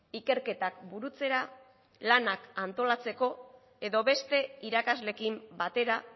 ikerketak burutzera lanak antolatzeko edo beste irakasleekin batera